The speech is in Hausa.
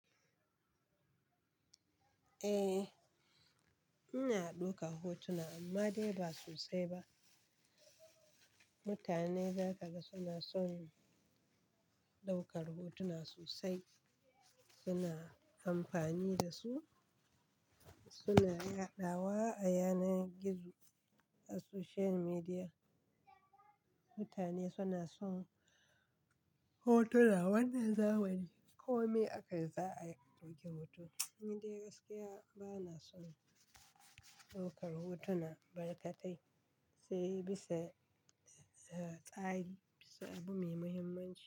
Eh, ina ɗaukar hotuna amma dai ba sosai ba. Mutane za ka ga suna son ɗaukar hotuna sosai, suna amfani da su, suna yaɗawa a yanar gizo, a social media. Mutane suna son hotuna wannan zamani kome aka yi za a ɗauki hoto. Ni dai gaskiya bana son ɗaukar hotuna barkatai, sai bisa tsari, bisa abu mai muhimmanci.